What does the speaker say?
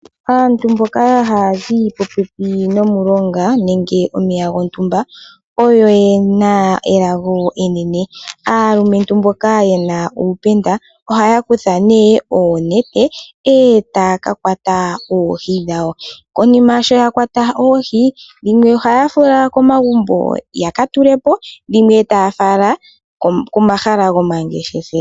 Aantu mboka hazi popepi nomulonga nenge nomeya gotumba oyo yena elango enene, aalumetu mboka yena upenda oha kutha ne oonete ota kakwata oohii dhawo , konima sho yakwata oohii dhimwe oha fala komagumbo yakatulepo dhimwe taya fala komahala gomangeshefelo.